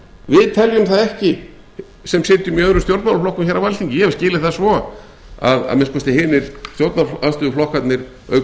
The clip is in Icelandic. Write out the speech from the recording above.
við teljum það ekki sem sitjum í öðrum stjórnmálaflokkum hér á alþingi ég hef skilið það svo að minnsta kosti hinir stjórnarandstöðuflokkarnir auk